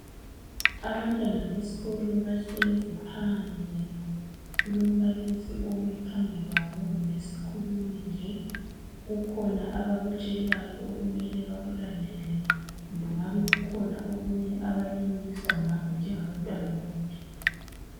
Abantwana besikolo bahlezi phandle kulombalisi omi phambi kwabo kumbe yisikhulumi nje kukhona abakutshelwayo okumele bakulandele kumbe kungabe kukhona okunye abakulimukiswayo ngakho njengaba ntwana bonke.